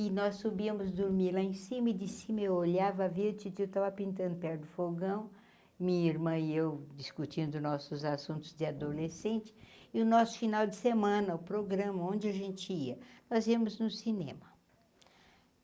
E nós subíamos dormir lá em cima e de cima eu olhava via a titia estava pintando perto do fogão, minha irmã e eu discutindo nossos assuntos de adolescente, e o nosso final de semana, o programa onde a gente ia, nós íamos no cinema.